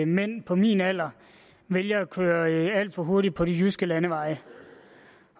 mænd på min alder vælger at køre alt for hurtigt på de jyske landeveje